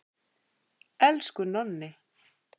Elsku Nonni.